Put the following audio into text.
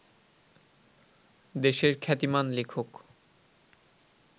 দেশের খ্যাতিমান লেখক